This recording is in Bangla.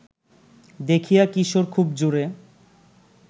দেখিয়া কিশোর খুব জোরে